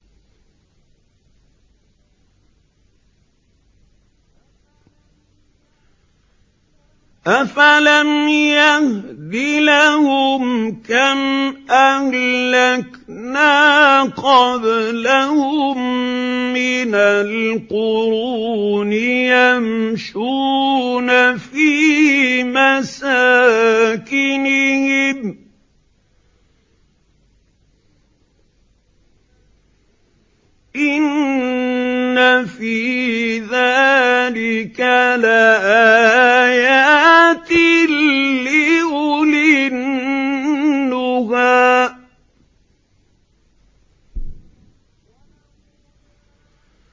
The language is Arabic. أَفَلَمْ يَهْدِ لَهُمْ كَمْ أَهْلَكْنَا قَبْلَهُم مِّنَ الْقُرُونِ يَمْشُونَ فِي مَسَاكِنِهِمْ ۗ إِنَّ فِي ذَٰلِكَ لَآيَاتٍ لِّأُولِي النُّهَىٰ